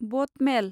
boat मेल